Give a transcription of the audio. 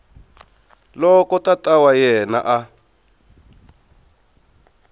loko tata wa yena a